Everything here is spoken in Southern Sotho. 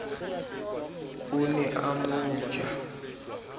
o ne a mo ja